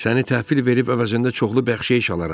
Səni təhvil verib əvəzində çoxlu bəxşiş alaram.